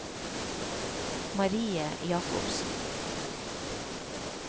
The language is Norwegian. Marie Jakobsen